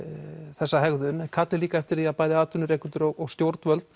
þessa hegðun þið kallið líka eftir því við atvinnurekendur og stjórnvöld